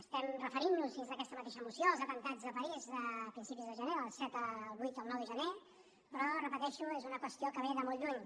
estem referint nos dins d’aquesta mateixa moció als atemptats de parís de principis de gener del set el vuit el nou de gener però ho repeteixo és una qüestió que ve de molt lluny